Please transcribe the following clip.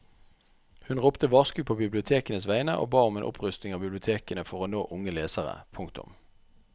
Hun ropte varsko på bibliotekenes vegne og ba om en opprustning av bibliotekene for å nå unge lesere. punktum